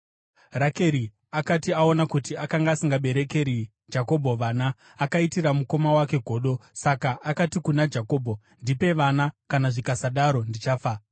Rakeri akati aona kuti akanga asingaberekeri Jakobho vana, akaitira mukoma wake godo. Saka akati kuna Jakobho, “Ndipe vana, kana zvikasadaro ndichafa!”